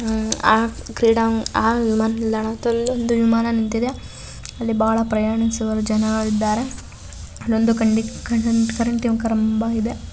ಆ ವಿಮಾನ ವಿಮಾನ ನಿಲ್ದಾಣದಲ್ಲಿ ವಿಮಾನ ನಿಂತಿದೆ ಬಹಳ ಪ್ರಯಾಣಿಸುವ ಜನರು ಇದ್ದಾರೆ .]